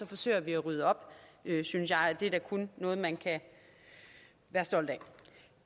forsøger vi at rydde op synes jeg og det er da kun noget man kan være stolt af